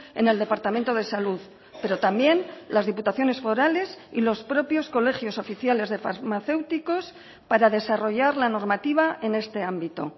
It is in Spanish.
en el departamento de salud pero también las diputaciones forales y los propios colegios oficiales de farmacéuticos para desarrollar la normativa en este ámbito